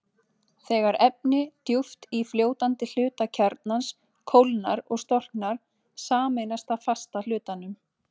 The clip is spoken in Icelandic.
Þegar efni djúpt í fljótandi hluta kjarnans kólnar og storknar, sameinast það fasta hlutanum.